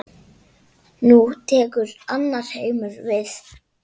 Nú tekur annar heimur við.